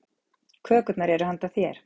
Kökurnar eru handa þér.